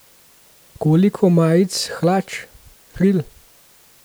Koliko majic, hlač, kril?